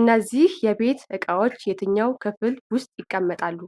እነዚህ የቤት ዕቃዎች የትኛው ክፍል ውስጥ ይቀመጣሉ?